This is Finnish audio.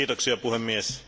Arvoisa puhemies,